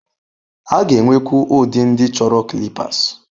A ga-enwekwu ụdị ndị chọrọ clippers.